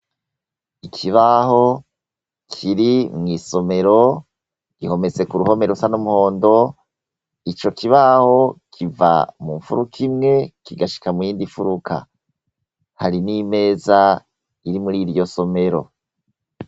Ikibaho kiri mwisomero gihometse kuruhome rusa numuhondo ico kibaho kiva mufuruka imwe kigashika muyindi furuka hari nimeza ziri muriyo somero